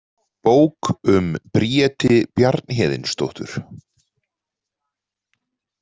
Bók um Bríeti Bjarnhéðinsdóttur.